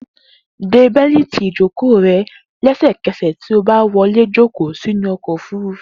De bẹ́lìtì ìjókòó rẹ lẹ́sẹ̀kẹsẹ̀ tí o bá wọlé jókòó sínú ọkọ̀ òfúrufú.